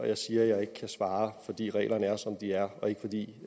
jeg siger at jeg ikke kan svare fordi reglerne er som de er og ikke fordi